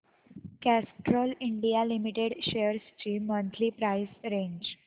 Castrol India limited shares ची monthly price range